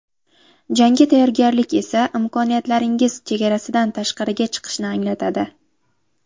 Jangga tayyorgarlik esa imkoniyatlaringiz chegarasidan tashqariga chiqishni anglatadi.